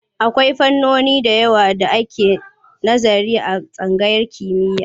Akwai fannoni da yawa da ake nazari a tsangayar kimiyya.